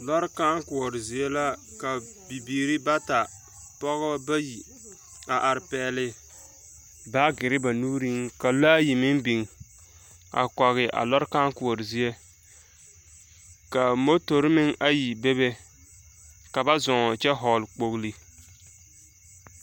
lɔɔre kãã koɔre zie la ka bibiiribata, pɔgeba bayi a are pɛgele, ka lɔɛ ayi meŋ biŋ a kɔge a lɔre kãã koɔre zie. Ka motori meŋ ayi bebe ka bazɔɔŋ kyɛ vɔgele kpogili.